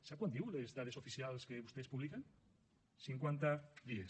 sap quant diuen les dades oficials que vostès publiquen cinquanta dies